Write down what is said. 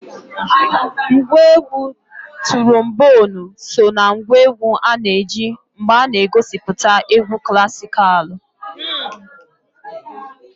Ngwa egwu turomboonu so na ngwa egwu a na-eji mgbe a na-egosipụta egwu klasikalụ.